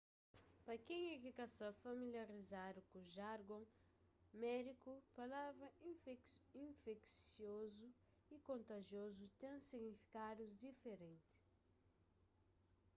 pa kenha ki ka sta familiarizadu ku jargon médiku palavra infeksiozu y kontajiozu ten signifikadus diferenti